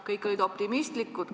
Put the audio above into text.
Kõik olid optimistlikud.